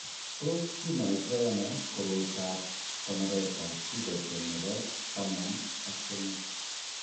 Tos kinoito ano koroitoab konoretab gycogen nebo taman ak somok?